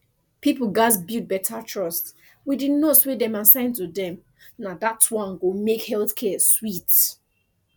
people gatz build better trust wit di nurse wey dem assign to dem na dat one go make health care sweet